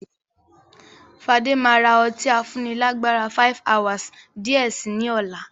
Fade maa ra ọtí afúnni lágbára "5hours" di ẹ síí ni ọ̀la.